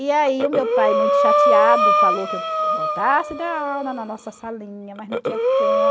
E aí o meu pai, muito chateado, falou que eu voltasse a dar aula na nossa salinha, mas não tinha